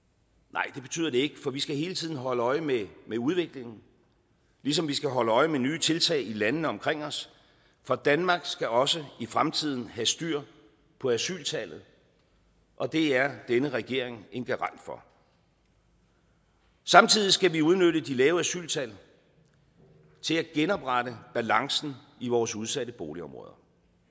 nej det betyder det ikke for vi skal hele tiden holde øje med udviklingen ligesom vi skal holde øje med nye tiltag i landene omkring os for danmark skal også i fremtiden have styr på asyltallet og det er denne regering en garant for samtidig skal vi udnytte de lave asyltal til at genoprette balancen i vores udsatte boligområder